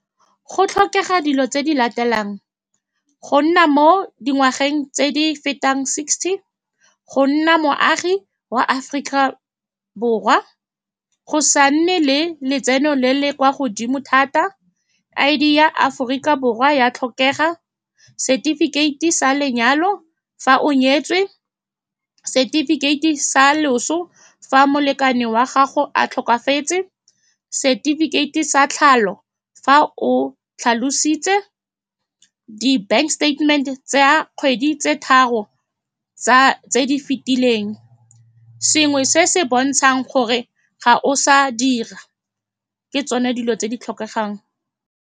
Go tlhokega dilo tse di latelang, go nna mo dingwageng tse di fetang sixty, go nna moagi wa Aforika Borwa, go sa nne le letseno le le kwa godimo thata, I_D ya Aforika Borwa ya tlhokega, setifikeiti sa lenyalo fa o nyetswe, setifikeiti sa loso fa molekane wa gago a tlhokafetse, setifikeiti, sa tlhalo fa o tlhalositse, di-bank statement-te tsa kgwedi tse tharo tsa tse di fitileng, sengwe se se bontshang gore ga o sa dira. Ke tsone dilo tse di tlhokegang.